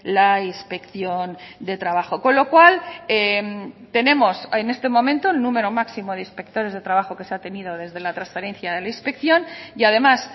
la inspección de trabajo con lo cual tenemos en este momento el número máximo de inspectores de trabajo que se ha tenido desde la transferencia de la inspección y además